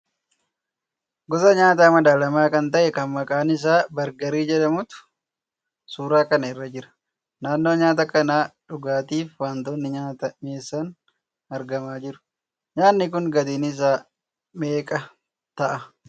Gosa nyaata madaalamaa kan ta'e kan maqaan isaa 'Bargarii' jedhamutu suuraa kana irra jira. Naannoo nyaata kanaa dhugaatii fi wantoonni nyaata mi'eessan argamaa jiru. Nyaatni kun gatiin isaa meeqa ta'a?